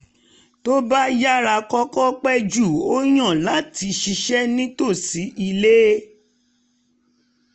tó um bá yára kọ̀ọ̀kan pẹ̀ jù ó yàn láti ṣiṣẹ́ nítòsí ilé